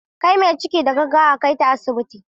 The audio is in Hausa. Kai mai ciki da gaggawa a kaita asibiti.